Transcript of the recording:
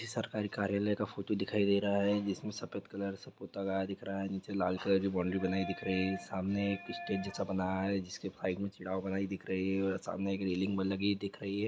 ये सरकारी कार्यालय का फोटो दिखाई दे रहा है जिसमे सफेद कलर से पोता गया दिख रहा है नीचे लाल कलर की बॉउन्ड्री बनाई दिख रही है और सामने एक स्टेज जैसा बनाया है जिसके बनाई दिख रही है और सामने एक रेलिंग लगी हुई दिख रही है।